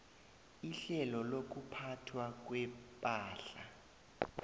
ihlelo lokuphathwa kwepahla